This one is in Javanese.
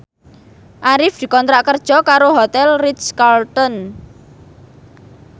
Arif dikontrak kerja karo Hotel Ritz Carlton